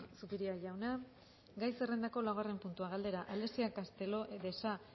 zupiria jauna gai zerrendako laugarren puntua galdera alexia castelo de sa